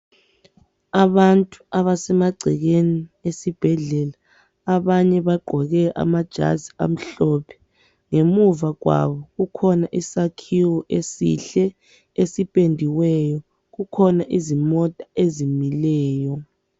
Abantu abasemagcekeni esibhedlela abanye bagqoke amajazi amhlophe. Ngemuva kwabo kukhona isakhiwo esihle esipendiweyo. Kukhona izimota ezimileyo.